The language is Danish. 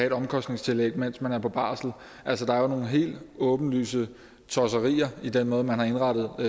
et omkostningstillæg mens man er på barsel altså der er jo nogle helt åbenlyse tosserier i den måde man har indrettet